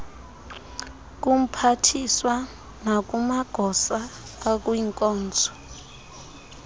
kumphathiswa nakumagosa akwinkonzo